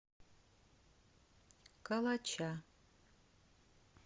калача